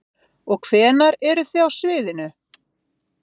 Jóhann: Og hvenær eruð þið á sviðinu?